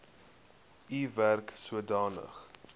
u werk sodanig